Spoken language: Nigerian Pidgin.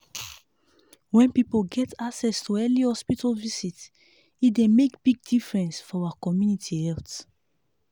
when people get access to early hospital visit e dey make big difference for our community health.